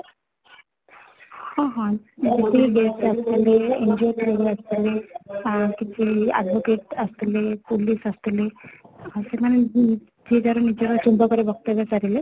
ହଁ, ହଁ ଯେତିକି guest ଆସିଥିଲେ, NGO ରୁ ଆସିଥିଲେ ଆଁ କିଛି advocate ଆସିଥିଲେ, police ଆସିଥିଲେ ସେମାନେ ଯିଏ ଯାହାର ନିଜର ରେ ବକ୍ତବ୍ୟ ସାରିଲେ